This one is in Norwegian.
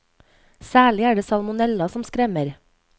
Særlig er det salmonella som skremmer.